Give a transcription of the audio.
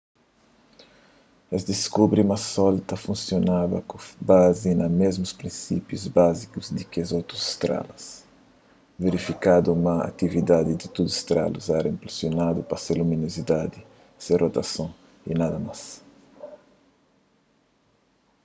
es diskubri ma sol ta funsionaba ku bazi na mésmus prinsípiu báziku ki otus strelas verifikadu ma atividadi di tudu strelas éra inpulsionadu pa se luminozidadi se rotason y nada más